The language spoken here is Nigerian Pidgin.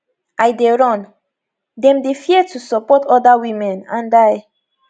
i dey run dem dey fear to support oda women and i